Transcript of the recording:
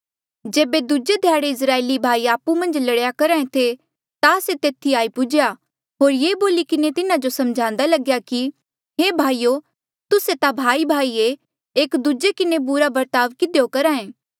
जेबे दूजे ध्याड़े इस्राएली भाई आपु मन्झ लड़ेया करहा ऐें थे ता से तेथी आई पुज्हेया होर ये बोली किन्हें तिन्हा जो समझांदा लग्या कि हे भाईयो तुस्से ता भाईभाई ऐें एक दूजे किन्हें बुरा बर्ताव किधियो करहा ऐें